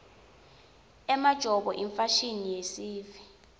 emajobo yimfashini yesintfu